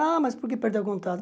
Ah, mas por que perdeu o contato?